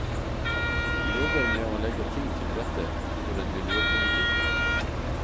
Vi jobber med å legge ting til rette for en miljøpolitikk.